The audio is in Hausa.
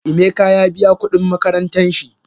Emeka ya biya kudin makarantan shi.